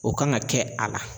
O kan ka kɛ a la